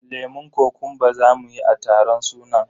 lemun kokumba zamu yi a taron sunan.